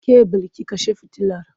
Ke Bilki kashe fitilar!